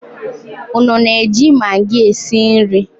Unu na-eji maggi esi nri?